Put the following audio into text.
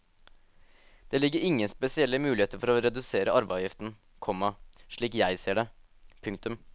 Det ligger ingen spesielle muligheter for å redusere arveavgiften, komma slik jeg ser det. punktum